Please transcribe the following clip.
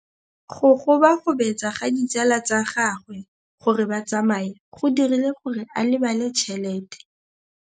Go gobagobetsa ga ditsala tsa gagwe, gore ba tsamaye go dirile gore a lebale tšhelete.